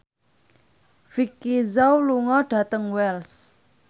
Vicki Zao lunga dhateng Wells